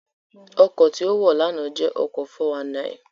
Ọkọ̀ tí ó wọ̀ lánàá jẹ́ ọkọ̀ 419